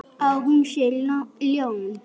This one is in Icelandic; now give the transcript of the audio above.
Að hún sé ljón.